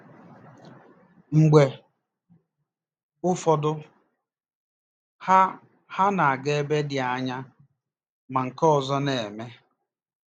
Mgbe ụfọdụ, ha ha na-aga n'ebe dị anya, ma nke ọzọ na-eme.